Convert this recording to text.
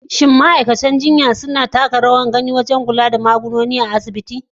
Shin ma’aikatan jinya suna taka rawar gani wajen kula da magunguna a asibitoci?